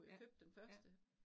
Ja, ja